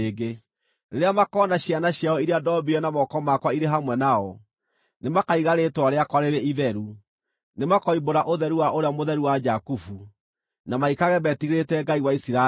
Rĩrĩa makoona ciana ciao iria ndombire na moko makwa irĩ hamwe nao, nĩmakaiga rĩĩtwa rĩakwa rĩrĩ itheru; nĩmakoimbũra ũtheru wa Ũrĩa Mũtheru wa Jakubu, na maikarage metigĩrĩte Ngai wa Isiraeli.